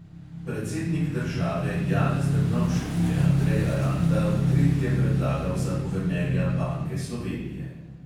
Predsednik države janez drnovšek je andreja ranta v tretje predlagal za guvernerja banke slovenije.